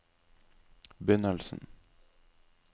begynnelsen